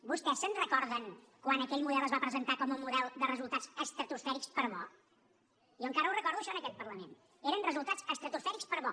vostès se’n recorden quan aquell model es va presentar com a model de resultats estratosfèrics per bo jo encara ho recordo això en aquest parlament eren resultats estratosfèrics per bo